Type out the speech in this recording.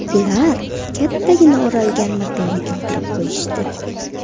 Ular kattagina o‘ralgan matoni keltirib qo‘yishdi.